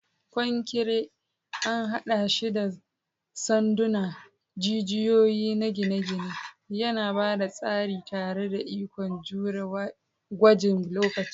Konkire an haɗa shi da sanduna, jijiyoyi na gine-gine, yana ba da tsari tare da ikon jure gwajin lokaci.